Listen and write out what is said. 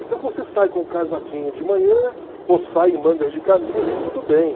Então você sai com um casaquinho de manhã ou sai em mangas de camisa e tudo bem.